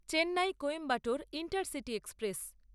Chennai Coimbatore intercity express